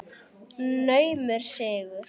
Naumur sigur.